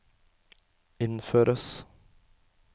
innføres